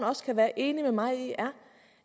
også kan være enig med mig i er